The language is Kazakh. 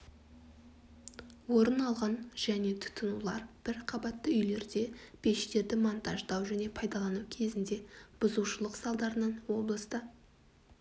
орын алған және тұтанулар бір қабатты үйлерде пештерді монтаждау және пайдалану кезінде бұзушылық салдарынан облыста